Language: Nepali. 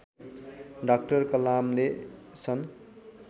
डाक्टर कलामले सन्